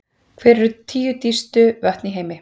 Hver eru tíu dýpstu vötn í heimi?